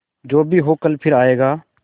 जो भी हो कल फिर आएगा